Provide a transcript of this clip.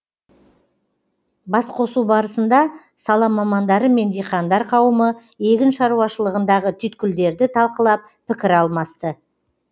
басқосу барысында сала мамандары мен диқандар қауымы егін шаруашылығындағы түйткілдерді талқылап пікір алмасты